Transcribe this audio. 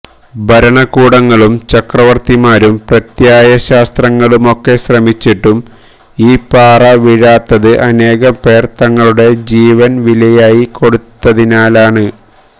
ഭരണകൂടങ്ങളും ചക്രവര്ത്തിമാരും പ്രത്യയ ശാസ്ത്രങ്ങളുമൊക്കെ ശ്രമിച്ചിട്ടും ഈ പാറ വീഴാത്തത് അനേകംപേര് തങ്ങളുടെ ജീവന് വിലയായി കൊടുത്തതിനാലാണ്